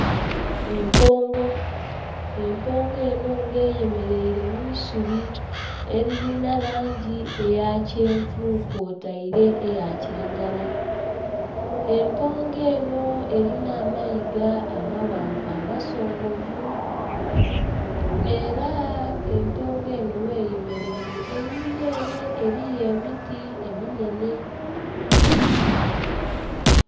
Empongo, empongo eno nga eyemeraire mwiisubi eririna langi eya kyenvu kw'otaire eya kiragala. Empongo eno erina amayiga amaghanvu amasongovu era empongo eno gh'eyemeraire einhuma ere eriyo emiti eminhenhe.